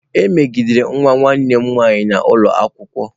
E megidere nwa nwanne m nwaanyị n'ụlọ akwụkwọ.